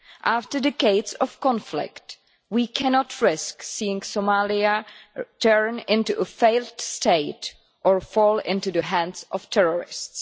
After decades of conflict, we cannot risk seeing Somalia turn into a failed state or fall into the hands of terrorists.